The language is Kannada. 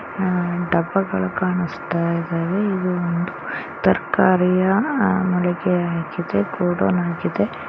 ಆ ಡಗಳು ಕಾಣುಸ್ತಯಿದಾವೆ ಇದು ಒಂದು ತರಕಾರಿಯ ಮಳಿಗೆ ಆಗಿದೆ.